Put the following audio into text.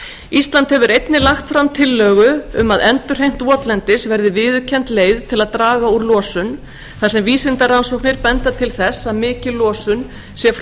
ísland hefur einnig lagt fram tillögu um að endurheimt votlendis verði viðurkennd leið til að draga úr losun þar sem vísindarannsóknir benda til þess að mikil losun sé frá